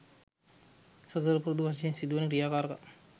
සසර පුරුදු වශයෙන් සිදුවන ක්‍රියාකාරකම්